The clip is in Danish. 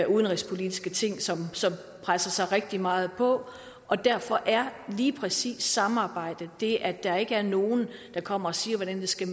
udenrigspolitiske ting som trænger sig rigtig meget på og derfor er lige præcis samarbejdet det at der ikke er nogen der kommer og siger hvordan det skal